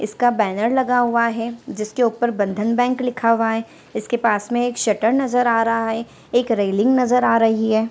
इसका बैनर लगा हुआ है जिसके ऊपर बंधन बैंक लिखा हुआ है इसके पास में एक शटर नज़र आ रहा है एक रेलिंग नज़र आ रही है।